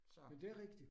Så